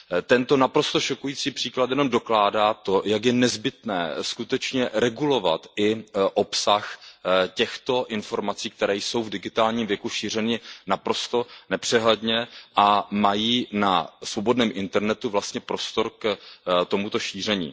Tento naprosto šokující příklad jen dokládá to, jak je nezbytné skutečně regulovat i obsah těchto informací, které jsou v digitálním věku šířeny naprosto nepřehledně a mají na svobodném internetu vlastně prostor k tomuto šíření.